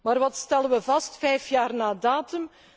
Maar wat stellen wij vast, vijf jaar na datum?